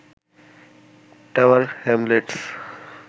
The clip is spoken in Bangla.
tower Hamlets